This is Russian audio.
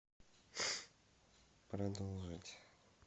продолжить